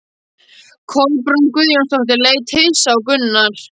Kolbrún Guðjónsdóttir leit hissa á Gunnar.